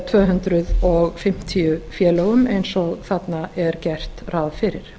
tvö hundruð fimmtíu félögum eins og þarna er gert ráð fyrir